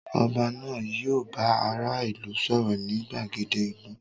Oba náà yio bá ará ìlú sòrò ni gbàgede ìlú